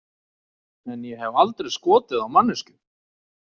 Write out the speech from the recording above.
En ég hef aldrei skotið á manneskju.